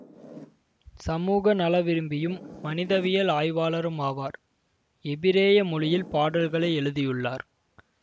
சமூக நலவிரும்பியும் மனிதவியல் ஆய்வாளரும் ஆவார் எபிரேய மொழியில் பாடல்களை எழுதியுள்ளார்